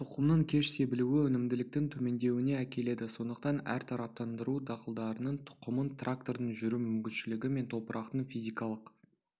тұқымның кеш себілуі өнімділіктің төмендеуіне әкеледі сондықтан әртараптандыру дақылдарының тұқымын трактордың жүру мүмкіншілігі мен топырақтың физикалық